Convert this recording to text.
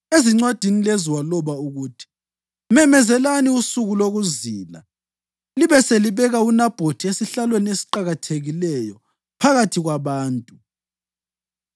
Ezincwadini lezo waloba ukuthi: “Memezelani usuku lokuzila libe selibeka uNabhothi esihlalweni esiqakathekileyo phakathi kwabantu.